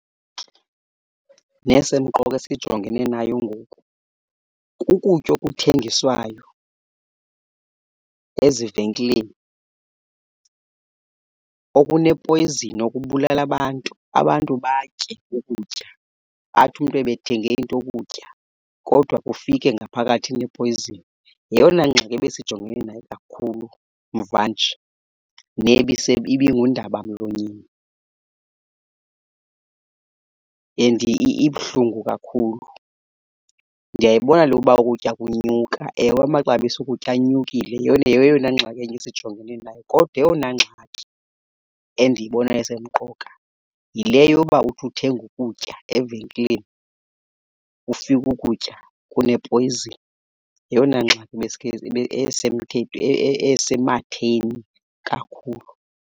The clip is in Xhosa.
Nesemqoka esijongene nayo ngoku kukutya okuthengiswayo ezivenkileni okunepoyzini okubulala abantu. Abantu batye ukutya athi umntu ebethenge into yokutya kodwa ufike ngaphakathi inepoyzini. Yeyona ngxaki ebesijongene nayo kakhulu mvanje nebise ibingundaba mlonyeni. And ibuhlungu kakhulu, ndiyayibona le yokuba ukutya kunyuka. Ewe, amaxabiso okutya anyukile yeyona yeyona ngxaki enye esijongene nayo. Kodwa eyona ngxaki endiyibonayo esemqoka yile yoba uthi uthenga ukutya evenkileni ufike ukutya kunepoyzini. Yeyona ngxaki esematheni kakhulu.